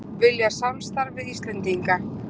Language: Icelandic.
Vilja samstarf við Íslendinga